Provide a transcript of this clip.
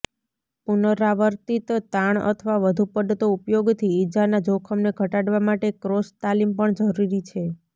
પુનરાવર્તિત તાણ અથવા વધુ પડતો ઉપયોગથી ઇજાના જોખમને ઘટાડવા માટે ક્રોસ તાલીમ પણ જરૂરી છે